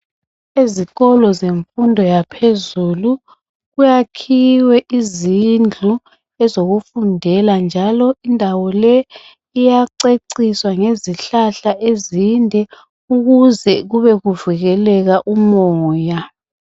Ezikolo zemfundo yaphezulu kuyakhiwe izindlu zokuphumulela njalo indawo le iyaceciswa ngezihlahla ezinde ukuze kube kuvikeleka umoya